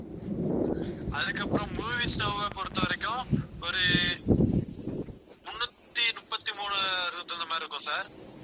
அதுக்கப்புறம் மூவீஸ் நௌவ பொறுத்தவரைக்கும், ஒரு முன்னூத்தி முப்பத்தி மூணு அதுக்கு தகுந்த மாதிரி இருக்கும் sir